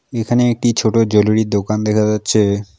এখানে একটি ছোট জুয়েলেরীর দোকান দেখা যাচ্ছে।